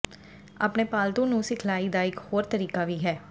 ਆਪਣੇ ਪਾਲਤੂ ਨੂੰ ਸਿਖਲਾਈ ਦਾ ਇੱਕ ਹੋਰ ਤਰੀਕਾ ਵੀ ਹੈ